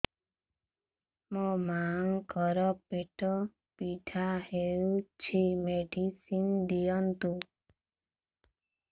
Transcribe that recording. ମୋ ମାଆଙ୍କର ପେଟ ପୀଡା ହଉଛି ମେଡିସିନ ଦିଅନ୍ତୁ